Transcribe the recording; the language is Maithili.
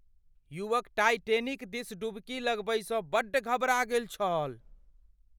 युवक टाइटैनिक दिस डुबकी लगबैसँ बड्ड घबरा गेल छल।